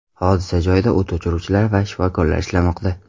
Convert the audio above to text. Hodisa joyida o‘t o‘chiruvchilar va shifokorlar ishlamoqda.